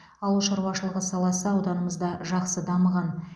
ауыл шаруашылығы саласы ауданымызда жақсы дамыған